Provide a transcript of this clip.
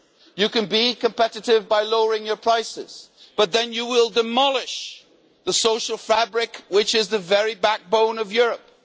You can be competitive by lowering your prices, but then you will demolish the social fabric which is the very backbone of Europe.